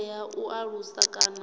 ndi ya u alusa kana